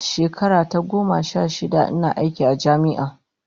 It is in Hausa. Shekara ta goma sha shida ina aiki a jami'a